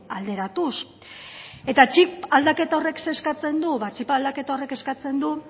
alderatuz eta txip aldaketa horrek zer eskatzen du ba txip aldaketa horrek eskatzen du